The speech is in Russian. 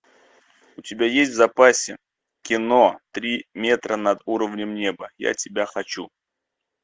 у тебя есть в запасе кино три метра над уровнем неба я тебя хочу